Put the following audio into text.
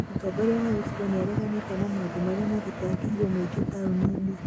mutongoria wa gĩcigo nĩ aareganite na maũndũ marĩa maathitangĩĩrwo mũingĩ taũni-inĩ